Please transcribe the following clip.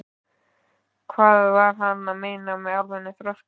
Hvað var hann að meina með almennum þroska?